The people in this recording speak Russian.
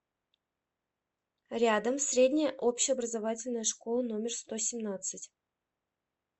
рядом средняя общеобразовательная школа номер сто семнадцать